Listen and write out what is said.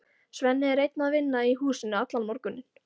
Svenni er einn að vinna í húsinu allan morguninn.